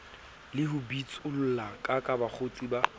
le ho bitsollakaka bakgotsi ba